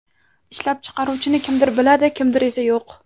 Ishlab chiqaruvchini kimdir biladi, kimdir esa yo‘q.